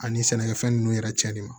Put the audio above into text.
Ani sɛnɛkɛfɛn ninnu yɛrɛ cɛnni ma